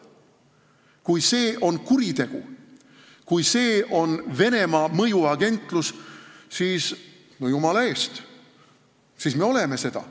Kui see on kuritegu, kui see tähendab, et me oleme Venemaa mõjuagendid, siis no jumala eest, me oleme seda.